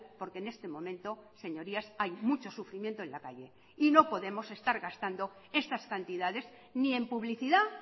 porque en este momento señorías hay mucho sufrimiento en la calle y no podemos estar gastando estas cantidades ni en publicidad